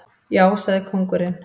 Já, sagði kóngurinn.